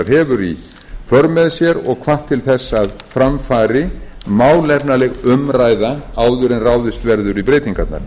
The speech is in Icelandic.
hefur í för með sér og hvatt til þess að fara fari málefnaleg umræða áður en ráðist verður í breytingarnar